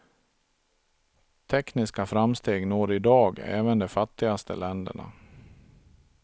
Tekniska framsteg når idag även de fattigaste länderna.